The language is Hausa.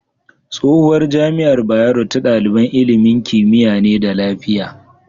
Tsohuwar jamiar bayero ta daliban ilimin kimiya ne da lafiya